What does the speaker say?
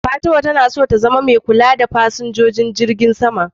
Fatima tana so ta zama mai kula da fasinjojin jirgin sama.